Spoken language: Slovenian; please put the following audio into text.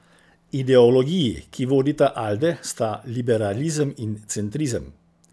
Ideologiji, ki vodita Alde, sta liberalizem in centrizem.